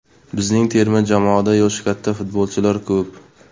Bizning terma jamoada yoshi katta futbolchilar ko‘p.